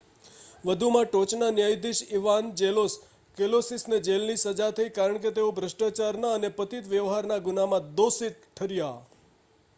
વધુમાં ટોચના ન્યાયાધીશ ઇવાન્જેલોસ કૅલોસિસને જેલની સજા થઈ કારણ કે તેઓ ભ્રષ્ટાચારના અને પતિત વ્યવહારના ગુનામાં દોષી ઠર્યા